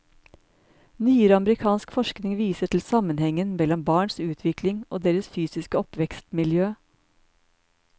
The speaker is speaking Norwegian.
Nyere amerikansk forskning viser til sammenhengen mellom barns utvikling og deres fysiske oppvekstmiljø.